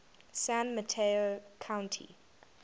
san mateo county